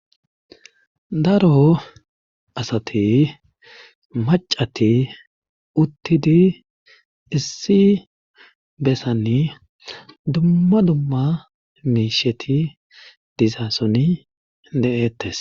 Daro asati macati uttidi issi bessanni dumma dumma miisheti dizassoni de7ettes